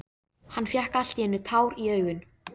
Hann fékk allt í einu tár í augun.